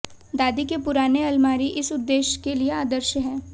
दादी के पुराने अलमारी इस उद्देश्य के लिए आदर्श है